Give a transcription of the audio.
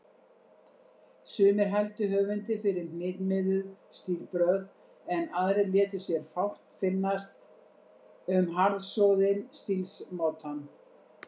Sumir hældu höfundi fyrir hnitmiðuð stílbrögð, en aðrir létu sér fátt finnast um harðsoðinn stílsmátann.